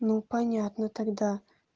ну понятно тогда